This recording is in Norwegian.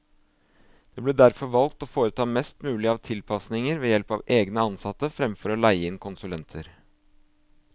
Det ble derfor valgt å foreta mest mulig av tilpasninger ved help av egne ansatte, fremfor å leie inn konsulenter.